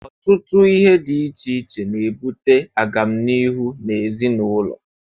Ọtụtụ ihe dị iche iche na-ebute agamniihu na ezinụlọ.